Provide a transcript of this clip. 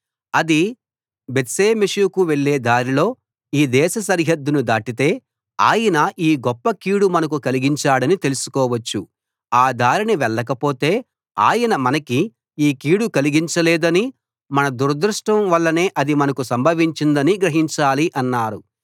అది బేత్షెమెషుకు వెళ్లే దారిలో ఈ దేశ సరిహద్దును దాటితే ఆయనే ఈ గొప్ప కీడు మనకు కలిగించాడని తెలుసుకోవచ్చు ఆ దారిన వెళ్ళకపోతే ఆయన మనకి ఈ కీడు కలిగించలేదనీ మన దురదృష్టం వల్లనే అది మనకు సంభవించిందనీ గ్రహించాలి అన్నారు